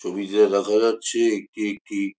ছবিতে দেখা যাচ্ছে একটি একটি --